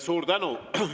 Suur tänu!